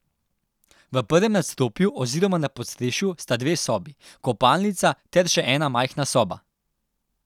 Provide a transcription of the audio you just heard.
V prvem nadstropju oziroma na podstrešju sta dve sobi, kopalnica ter še ena majhna soba.